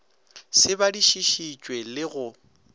se badišiši tšwe le go